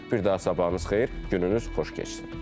Bir daha sabahınız xeyir, gününüz xoş keçsin.